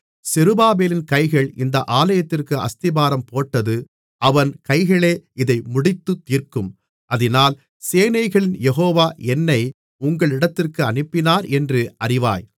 செருபாபேலின் கைகள் இந்த ஆலயத்திற்கு அஸ்திபாரம் போட்டது அவன் கைகளே இதை முடித்துத் தீர்க்கும் அதினால் சேனைகளின் யெகோவா என்னை உங்களிடத்திற்கு அனுப்பினாரென்று அறிவாய்